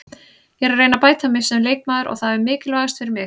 Ég er að reyna að bæta mig sem leikmaður og það er mikilvægast fyrir mig.